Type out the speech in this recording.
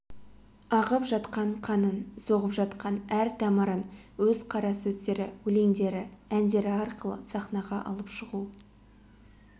ағып жатқан қанын соғып жатқан әр тамырын өз қарасөздері өлеңдері әндері арқылы саханға алып шығу